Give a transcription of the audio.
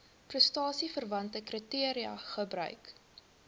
prestasieverwante kriteria gebruik